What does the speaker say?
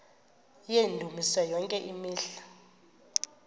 yendumiso yonke imihla